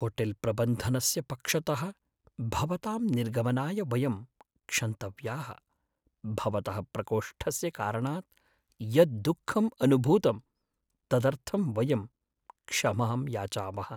होटेल्प्रबन्धनस्य पक्षतः भवतां निर्गमनाय वयं क्षन्तव्याः, भवतः प्रकोष्ठस्य कारणात् यद्दुःखम् अनुभूतं तदर्थं वयं क्षमां याचामः।